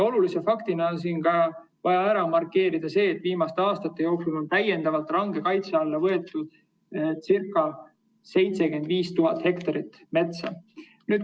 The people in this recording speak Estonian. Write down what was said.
Olulise faktina on siin vaja ära markeerida, et viimaste aastate jooksul on täiendavalt range kaitse alla võetud ca 75 000 hektarit metsa.